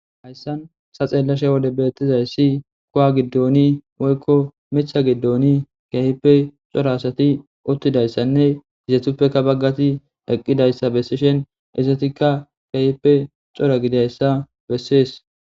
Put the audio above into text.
hayssan sa xeellashe wode beettizayssi kuwa giddoni woykko mitha giddoni keehippe xora asati uttidayssanne hizethuppeka baggati eqqidayssa bessishen isetikka keehppe xora gidayssa bessees